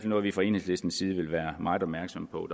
noget vi fra enhedslisten side vil være meget opmærksomme på